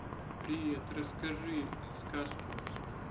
привет расскажи сказку